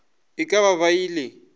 e ka ba e le